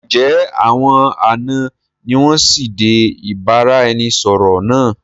Ǹ jẹ́ àwọn àná ni wọn sì dé ìbáraẹnisọọ̀rọ̀ náà?